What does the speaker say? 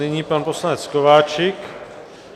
Nyní pan poslanec Kováčik.